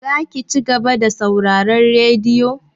Zaki ci gaba da sauraron radiyo?